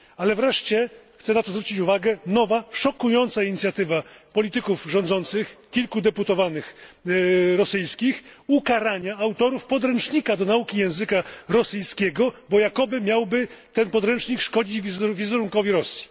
Ale wreszcie, chcę na to zwrócić uwagę, nowa szokująca inicjatywa polityków rządzących kilku deputowanych rosyjskich ukarania autorów podręcznika do nauki języka rosyjskiego, bo podręcznik ten miałby jakoby szkodzić wizerunkowi Rosji.